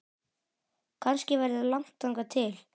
Kannski verður langt þangað til